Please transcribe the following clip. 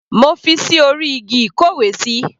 Mo fi ṣí orí igi ìkówesí.